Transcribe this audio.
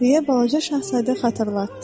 deyə balaca şahzadə xatırlatdı.